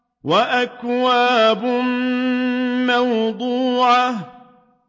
وَأَكْوَابٌ مَّوْضُوعَةٌ